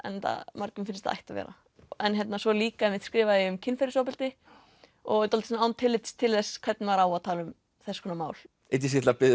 mörgum finnst það ætti að vera en svo líka skrifaði ég um kynferðisofbeldi og dálítið án tillits til þess hvernig maður á að tala um þess konar mál ég ætla að biðja